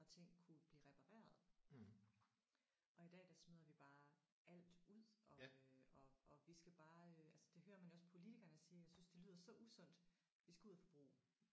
Og ting kunne blive repareret og i dag der smider vi bare alt ud og øh og og vi skal bare øh altså det hører man jo også politikerne sige jeg synes det lyder så usundt. Vi skal ud og forbruge